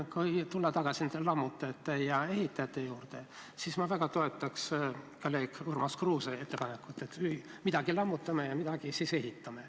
Kui tulla tagasi nende lammutajate ja ehitajate juurde, siis ma väga toetan kolleeg Urmas Kruuse ettepanekut, et midagi me võiks lammutada ja midagi ehitada.